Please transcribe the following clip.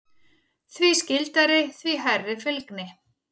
Því skyldari, því hærri fylgni.